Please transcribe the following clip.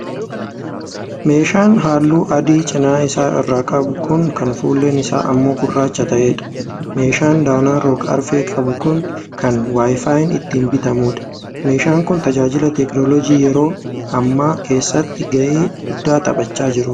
Meeshaa halluu adii cina isaa irra qabu kan fuulleen isaa ammoo gurraacha ta'eedha. Meeshaan danaa rog arfee qabu kun kan 'wifiin' itti bitamuudha. Meeshaan kun tajaajila teknooloojjii yeroo hammaa keessatti ga'ee guddaa taphachaa jira.